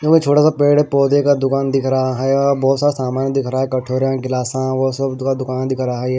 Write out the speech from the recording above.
छोटा सा पेड़ पौधे का दुकान दिख रहा है और बहुत सारा सामान दिख रहा है कठोरा गिलासा वो सब का दुकान दिख रहा है।